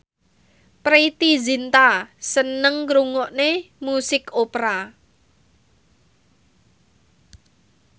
Preity Zinta seneng ngrungokne musik opera